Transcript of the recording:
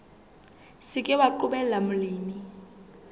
se ke wa qobella molemi